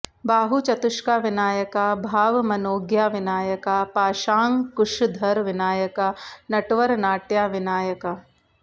बाहुचतुष्का विनायका भावमनोज्ञा विनायका पाशांकुशधर विनायका नटवरनाट्या विनायका